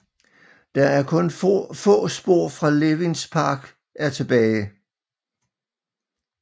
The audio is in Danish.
Der er kun få spor fra Levins park er tilbage